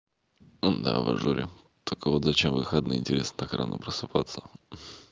ну да в ажуре только вот зачем в выходные интересно так рано просыпаться